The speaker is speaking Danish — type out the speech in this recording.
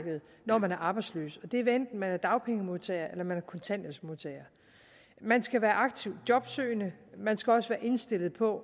når man er arbejdsløs det er hvad enten man er dagpengemodtager eller man er kontanthjælpsmodtager man skal være aktivt jobsøgende man skal også være indstillet på